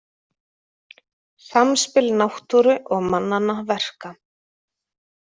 Samspil náttúru og mannanna verka